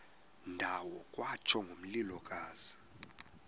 ndawo kwatsho ngomlilokazi